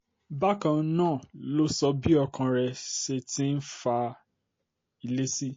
bákan um náà ló sọ bí ọkàn rẹ̀ ṣe ti ń fa um ilé sí